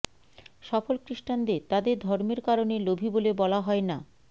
সফল খ্রিস্টানদের তাদের ধর্মের কারণে লোভী বলে বলা হয় না